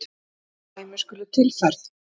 Þrjú dæmi skulu tilfærð.